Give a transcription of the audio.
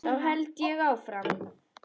Þá held ég áfram.